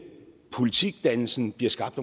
politikdannelsen bliver skabt